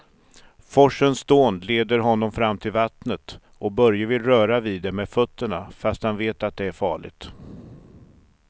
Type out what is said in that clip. Forsens dån leder honom fram till vattnet och Börje vill röra vid det med fötterna, fast han vet att det är farligt.